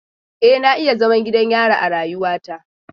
E, na yi zaman gidan yari a rayuwata.